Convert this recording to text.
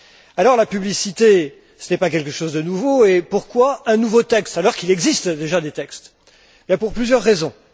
Alors, la publicité, ce n'est pas quelque chose de nouveau, et pourquoi un nouveau texte, alors qu'il existe déjà des textes? Pour plusieurs raisons.